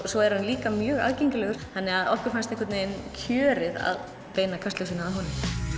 svo er hann líka mjög aðgengilegur þannig að okkur fannst kjörið að beina kastljósinu að honum